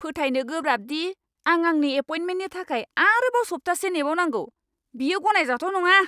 फोथायनो गोब्राब दि आं आंनि एपइन्टमेन्टनि थाखाय आरोबाव सप्तासे नेबावनांगौ। बेयो गनायजाथाव नङा।